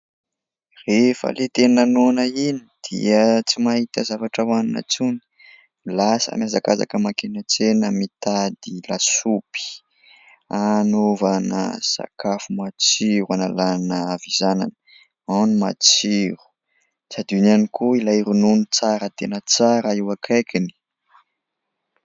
Rehefa ilay tena noana iny dia tsy mahita zavatra hohanina intsony : lasa mihazakazaka mankeny an-tsena mitady lasopy anaovana sakafo matsiro hanalana havizanana ao ny matsiro ; tsy adino ihany koa ilay ronono tsara tena tsara eo akaikiny.